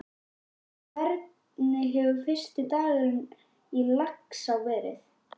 En hvernig hefur fyrsti dagurinn í Laxá verið?